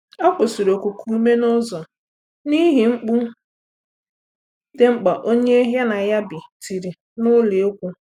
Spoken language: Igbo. Ọ kwụsịrị okuku ume n'ụzọ n'ihi mkpu dị mkpa onye ya na ya bi tiri n'ụlọ ékwū